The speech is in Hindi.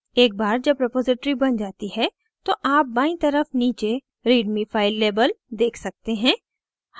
एक बार जब रेपॉज़िटरी बन जाती है तो आप बायीं तरफ नीचे readme फ़ाइल label देख सकते हैं